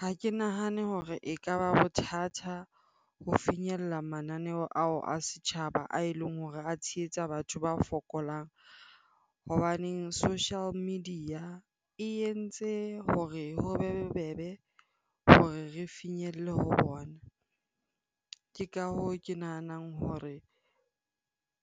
Ha ke nahane hore ekaba bothata ho finyella mananeo ao a setjhaba ae leng hore a tshehetsa batho ba fokolang. Hobaneng social media e entse hore ho bobebe hore re finyelle ho bona. Ke ka hoo, ke nahanang hore